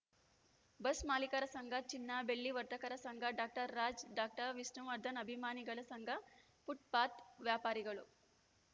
bus ಮಾಲೀಕರ ಸಂಘ ಚಿನ್ನ ಬೆಳ್ಳಿ ವರ್ತಕರ ಸಂಘ ಡಾಕ್ಟರ್ ರಾಜ್‌ ಡಾಕ್ಟರ್ ವಿಷ್ಣುವರ್ಧನ್‌ ಅಭಿಮಾನಿಗಳ ಸಂಘ ಫುಟ್‌ಪಾತ್‌ ವ್ಯಾಪಾರಿಗಳು